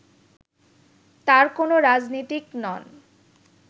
তার কোন রাজনীতিক নন